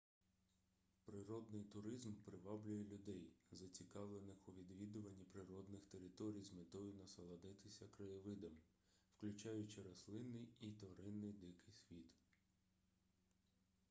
природний туризм приваблює людей зацікавлених у відвідуванні природних територій з метою насолодитися краєвидом включаючи рослинний і тваринний дикий світ